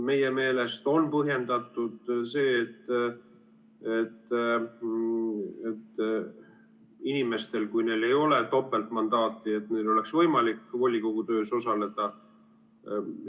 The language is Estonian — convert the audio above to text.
Meie meelest on põhjendatud see, et inimestel, kui neil ei ole topeltmandaati, oleks võimalik volikogu töös osaleda.